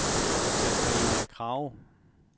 Sabrina Krag